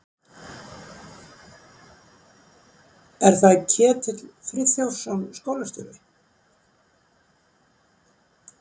Er það Ketill Friðþjófsson, skólastjóri?